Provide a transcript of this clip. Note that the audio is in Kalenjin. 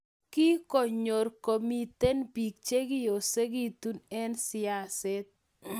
kigonyor komiten biik chegiosigitu eng siaset